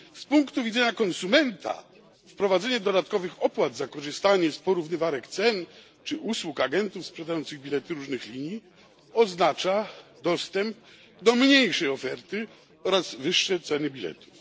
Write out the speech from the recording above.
Z punktu widzenia konsumenta wprowadzenie dodatkowych opłat za korzystanie z porównywarek cen czy usług agentów sprzedających bilety różnych linii oznacza dostęp do mniejszej oferty oraz wyższe ceny biletów.